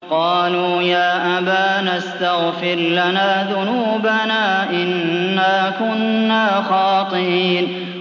قَالُوا يَا أَبَانَا اسْتَغْفِرْ لَنَا ذُنُوبَنَا إِنَّا كُنَّا خَاطِئِينَ